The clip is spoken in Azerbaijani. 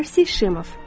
Marsi Şemov.